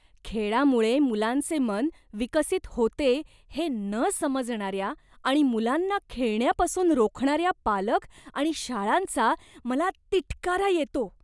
खेळामुळे मुलांचे मन विकसित होते हे न समजणाऱ्या आणि मुलांना खेळण्यापासून रोखणाऱ्या पालक आणि शाळांचा मला तिटकारा येतो.